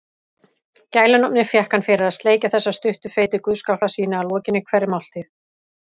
Gælunafnið fékk hann fyrir að sleikja þessa stuttu feitu guðsgaffla sína að lokinni hverri máltíð.